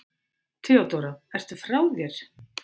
THEODÓRA: Ertu frá þér?